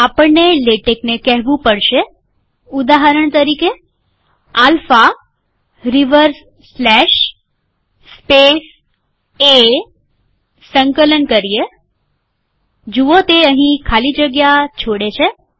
આપણને લેટેકને કહેવું પડશેઉદાહરણ તરીકે આલ્ફા રિવર્સસ્લેશ સ્પેસ એસંકલન કરીએ જુઓ તે અહીં ખાલી જગ્યા છોડે છે